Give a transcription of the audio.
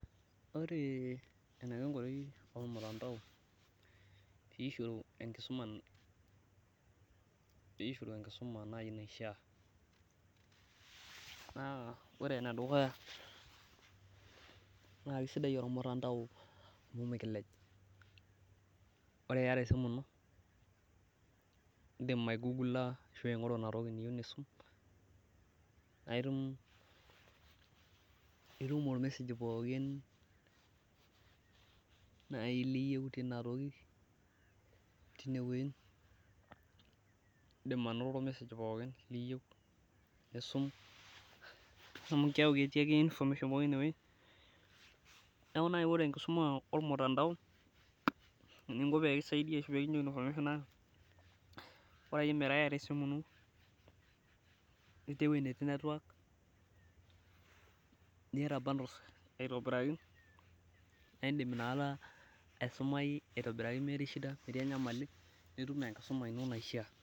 ore eniko enkoitoi olmutandao pee isho enkisuma naifaa naa ore enedukuya naa kisidai olmutandao, amu mikilej ore iyata esimu ino, idim aingoru inatoki niyieu nisum, naa itum olmesej pooki naaji niyieu, naa idim anoto olmesej pooki, liyieu nisum amu keeku ketii ake information pooki ineweji, neeku naaji ore enkisuma olmutandao naa bora akeyie meeta iyata esimu ino netii bundles aitobiraki.